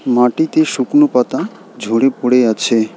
মাটিতে শুকনো পাতা ঝরে পড়ে আছে।